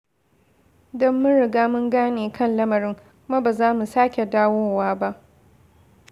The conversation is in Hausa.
Don mun riga mun gane kan lamarin, kuma ba za mu sake dawowa ba.